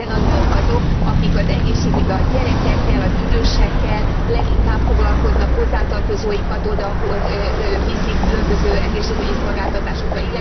Hiszen a nők azok, akik az egészségügyben a gyerekekkel, az idősekkel leginkább foglalkoznak, hozzátartozóikat odaviszik különböző egészségügyi szolgáltatásokra.